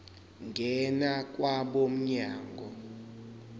ngena kwabo mnyango